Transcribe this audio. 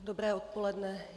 Dobré odpoledne.